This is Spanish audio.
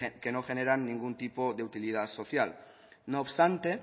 que no generan ningún tipo de utilidad social no obstante